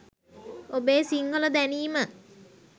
ඔබෙ සිංහල දැනීම